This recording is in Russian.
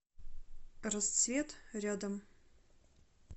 расцвет рядом